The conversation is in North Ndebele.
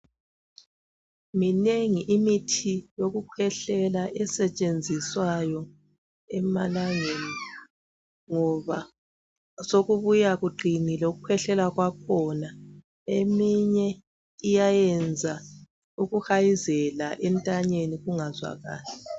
Minengi imithi yokukhwehlela esetshenziswayo emalangeni ngoba sokubuya kuqinile ukukhwehlela kwakhona eminye iyayenza ukuhayizela entanyeni kungazwakali.